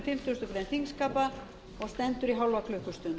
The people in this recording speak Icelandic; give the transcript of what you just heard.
fimmtugustu grein þingskapa og stendur í hálfa klukkustund